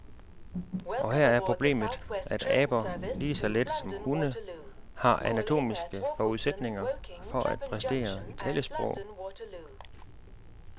Og her er problemet, at aber, lige så lidt som hunde, har anatomiske forudsætninger for at præstere talesprog.